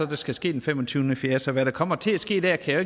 der skal ske den fem og tyve nul fire så hvad der kommer til at ske der kan jeg